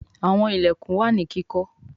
Àwọn ilẹkùn wá ní kíkó.